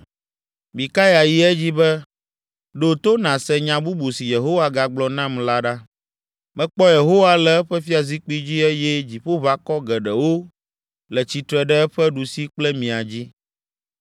Mikaya yi edzi be, “Ɖo to nàse nya bubu si Yehowa gagblɔ nam la ɖa. Mekpɔ Yehowa le eƒe fiazikpui dzi eye dziƒoʋakɔ geɖewo le tsitre ɖe eƒe ɖusi kple mia dzi.